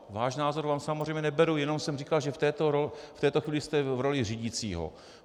Váš názor vám samozřejmě neberu, jenom jsem říkal, že v této chvíli jste v roli řídícího.